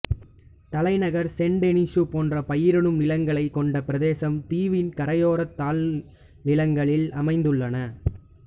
தலைநகர் சென்டெனிசு போன்ற பயிரிடும் நிலங்களைக் கொண்ட பிரதேசம் தீவின் கரையோரத் தாழ்நிலங்களில் அமைந்துள்ளன